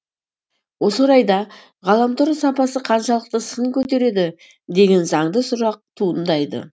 осы орайда ғаламтор сапасы қаншалықты сын көтереді деген заңды сұрақ туындайды